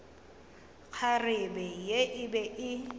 kgarebe ye e be e